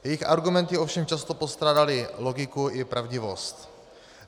Jejich argumenty ovšem často postrádaly logiku i pravdivost.